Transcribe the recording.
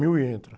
mil e entra.